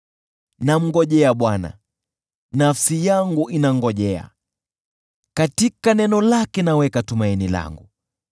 Namngojea Bwana , nafsi yangu inangojea, katika neno lake naweka tumaini langu.